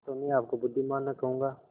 तो मैं आपको बुद्विमान न कहूँगा